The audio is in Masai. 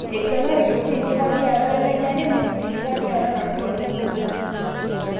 Eiguanareki oshi tenkitadiata elejare neibungi tenkitadiata napuro ltunganak.